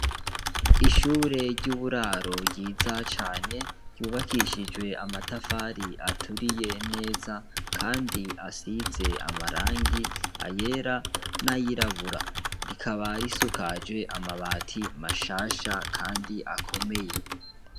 Ishure ryiza cane ryubakishije amatafari aturiye kandi asize amarangi yera nayirabura rikaba risakajwe amabati mashasha kandi akomeye